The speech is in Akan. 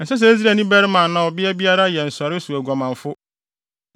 Ɛnsɛ sɛ Israelni barima anaa ɔbea biara yɛ nsɔree so oguamanfo.